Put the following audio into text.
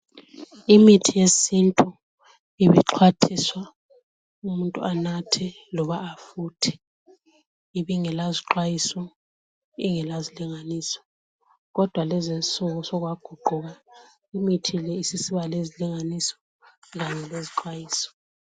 Imithi yesintu ibixhwathiswa umuntu anathe loba afuthe. Ibingela zixwayiso, ibingela zilinganiso, kodwa lezi insuku lokhu sokwaguquka. Imithi leyi sisiba lezilinganiso kanye lezixwayiso .